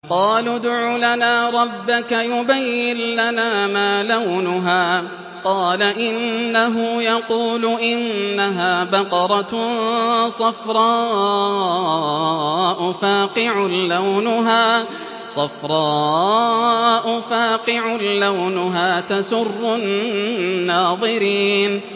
قَالُوا ادْعُ لَنَا رَبَّكَ يُبَيِّن لَّنَا مَا لَوْنُهَا ۚ قَالَ إِنَّهُ يَقُولُ إِنَّهَا بَقَرَةٌ صَفْرَاءُ فَاقِعٌ لَّوْنُهَا تَسُرُّ النَّاظِرِينَ